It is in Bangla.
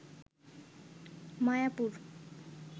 মায়াপুর